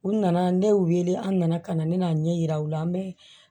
U nana ne ye u wele an nana ka na ne n'a ɲɛ yira u la an bɛ